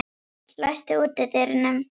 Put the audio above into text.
Páll, læstu útidyrunum.